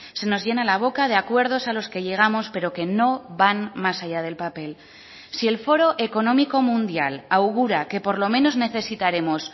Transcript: se nos llena la boca de acuerdos a los que llegamos pero que no van más allá del papel si el foro económico mundial augura que por lo menos necesitaremos